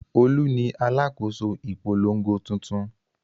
Olú ni alákòóso ìpolongo tuntun.